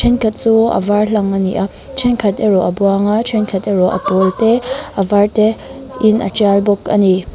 thenkhat chu a var hlang a ni a thenkhat erawh a buang a thenkhat erawh a pawl te a var te in a tial bawk a ni.